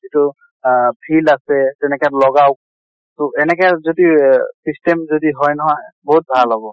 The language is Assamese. আহ যিটো field আছে তেনেকাত লগাওক। ত; এনেকা যদি অহ system যদি হয় নহয় বহুত ভাল হʼব।